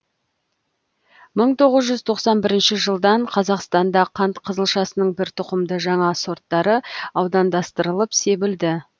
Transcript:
мың тоғыз жүз тоқсан бірінші жылдан қазақстанда қант қызылшасының бір тұқымды жаңа сорттары аудандастырылып себілді